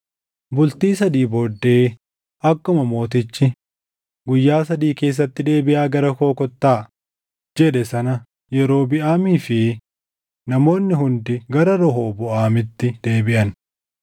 Bultii sadii booddee akkuma mootichi, “Guyyaa sadii keessatti deebiʼaa gara koo kottaa” jedhe sana Yerobiʼaamii fi namoonni hundi gara Rehooboʼaamitti deebiʼan.